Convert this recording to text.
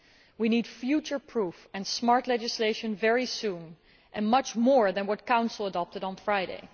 We need future proof and smart legislation very soon, and much more than what the Council adopted on Friday.